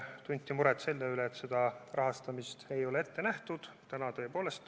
Tunti muret selle üle, et rahastamist ei ole ette nähtud.